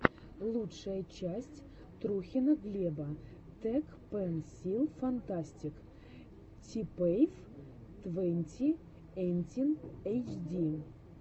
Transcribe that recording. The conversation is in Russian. лучшая часть трухина глеба тэкпэнсилфантастик типиэф твонти эйтин эйчди